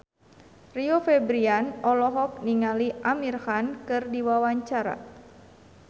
Rio Febrian olohok ningali Amir Khan keur diwawancara